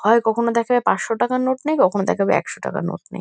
হয় কখনো দেখাবে পাঁচশো টাকার নোট নেই কখনো দেখাবে একশো টাকার নোট নেই ।